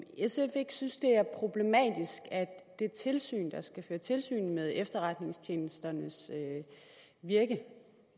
sf ikke synes at det er problematisk at det tilsyn der skal føre tilsyn med efterretningstjenesternes virke